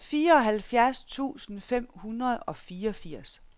fireoghalvfjerds tusind fem hundrede og fireogfirs